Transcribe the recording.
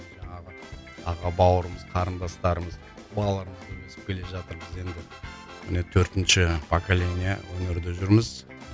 жаңағы аға бауырымыз қарындастарымыз өсіп келе жатыр біз енді міне төртінші поколения өнерде жүрміз